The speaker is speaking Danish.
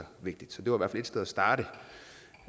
vigtigt det var i et sted at starte